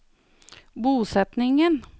bosetningen